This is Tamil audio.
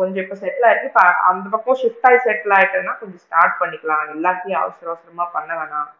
கொஞ்சம் இப்போ settle ஆயிடுச்சு அந்த பக்கம் shift ஆகி settle ஆகிட்டேன்னா கொஞ்சம் start பண்ணிக்கலாம் எல்லாத்தையும் அவசர அவசரமா பண்ண வேண்டாம்